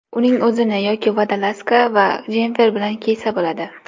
Uning o‘zini yoki vodolazka va jemfer bilan kiysa bo‘ladi.